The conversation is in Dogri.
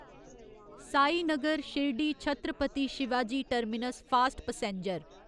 Sainagar Shirdi Chhatrapati Shivaji terminus fast passenger